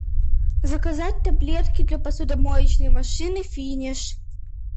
заказать таблетки для посудомоечной машины финиш